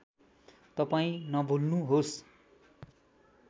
तपाईँ नभुल्नुहोस्